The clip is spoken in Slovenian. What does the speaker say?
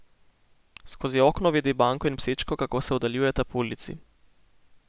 Skozi okno vidi Banko in psičko, kako se oddaljujeta po ulici.